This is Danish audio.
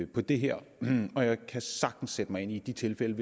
på det her og jeg kan sagtens sætte mig ind i de tilfælde